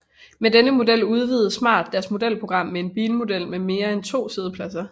Med denne model udvidede Smart deres modelprogram med en bilmodel med mere end to siddepladser